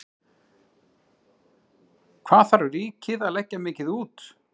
Hvað það ríkið að leggja mikið út?